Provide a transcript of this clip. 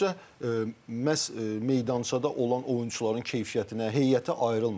Amma büdcə məhz meydançada olan oyunçuların keyfiyyətinə, heyətə ayrılmır.